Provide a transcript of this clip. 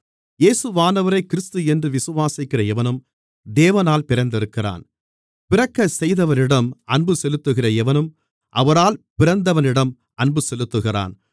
இயேசுவானவரே கிறிஸ்து என்று விசுவாசிக்கிற எவனும் தேவனால் பிறந்திருக்கிறான் பிறக்கச்செய்தவரிடம் அன்பு செலுத்துகிற எவனும் அவரால் பிறந்தவனிடமும் அன்பு செலுத்துகிறான்